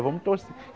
Vamos